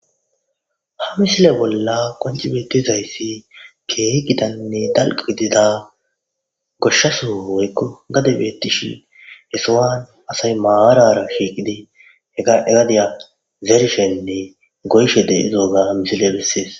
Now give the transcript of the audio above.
Ha misile bolla qoncci beettizayssi keehi gitanne dalgga gidida goshsha sohoy woykko gadey beettishe he sohowa asay maarara shiiqidi he gadiya zerishenne goyishe de'izoga misiley besses.